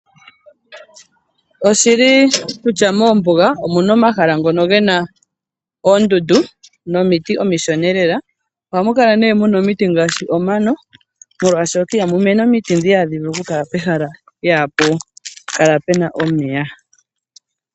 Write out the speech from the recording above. Oshili kutya moombuga omuna omahala ngono gena oondundu, nomiti omishona lela, oha mu kala mana omiti ngaashi omano, molwashoka iha mu mene omiti ndho iha dhi vulu oku pehala pena omeya.